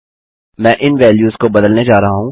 मैं इन वैल्यूस को बदलने जा रहा हूँ